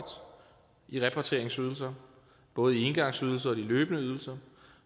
i repatrieringsydelser både i engangsydelser og i de løbende ydelser